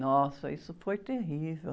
Nossa, isso foi terrível.